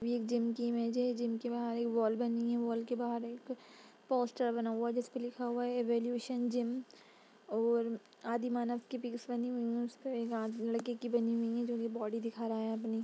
एक जिम की इमेज है। जिम के बाहर इक वॉल बनी हुई है। वॉल के बाहर एक पोस्टर बना हुआ है। जिसमें लिखा हुआ है इवोल्यूशन जिम और आदिमानव की पिक बनी हुई है और एक लड़का बनी हुई हैजो अपनी बॉडी दिखा रहा है।